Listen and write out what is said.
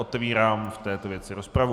Otevírám v této věci rozpravu.